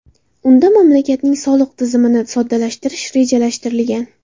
Unda mamlakatning soliq tizimini soddalashtirish rejalashtirilgan.